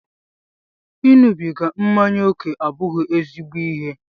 Ịṅụbiga mmanya ókè abụghị ezigbo ịhe.